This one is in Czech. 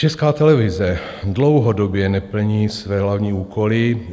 Česká televize dlouhodobě neplní své hlavní úkoly.